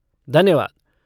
धन्यवाद!